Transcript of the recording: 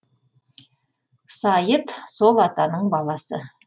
сайыт сол атаның баласы